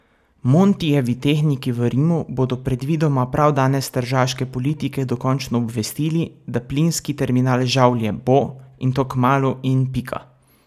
Montijevi tehniki v Rimu bodo predvidoma prav danes tržaške politike dokončno obvestili, da plinski terminal Žavlje bo, in to kmalu in pika.